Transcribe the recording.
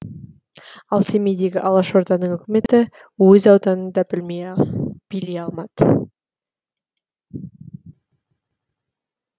ал семейдегі алашорданың үкіметі өз ауданын да билей алмады